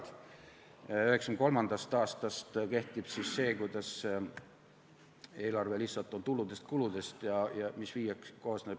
1993. aastast kehtib see, et eelarve koosneb lihtsalt tuludest ja kuludest, mis viiakse tasakaalu.